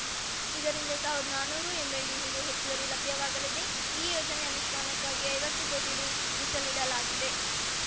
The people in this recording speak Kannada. ಇದರಿಂದ ಸಾವಿರದ್ ನಾನ್ನೂರು ಎಂಎಲ್‌ಡಿ ನೀರು ಹೆಚ್ಚುವರಿ ಲಭ್ಯವಾಗಲಿದೆ ಈ ಯೋಜನೆ ಅನುಷ್ಠಾನಕ್ಕಾಗಿ ಐವತ್ತು ಕೋಟಿ ರೂ ಮೀಸಲಿಡಲಾಗಿದೆ